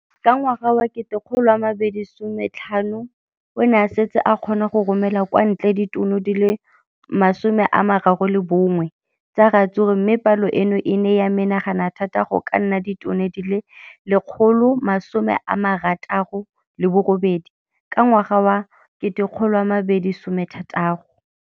Ka ngwaga wa 2015, o ne a setse a kgona go romela kwa ntle ditone di le 31 tsa ratsuru mme palo eno e ne ya menagana thata go ka nna ditone di le 168 ka ngwaga wa 2016.